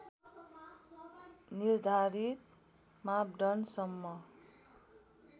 निर्धारित मापदण्ड सम्म